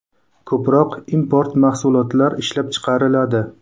Ko‘proq import mahsulotlar ishlab chiqariladi.